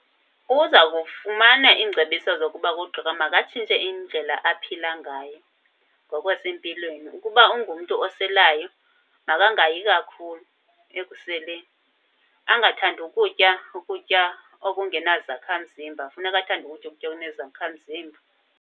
Uzawukufumana iingcebiso zokuba kugqirha makatshintshe indlela aphila ngayo ngokwasempilweni. Ukuba ungumntu oselayo makangayi kakhulu ekuseleni. Angathandi ukutya ukutya okungenazakhamzimba, funeka athande ukutya ukutya okunezakhamzimba.